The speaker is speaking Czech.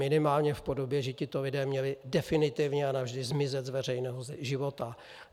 Minimálně v podobě, že tito lidé měli definitivně a navždy zmizet z veřejného života.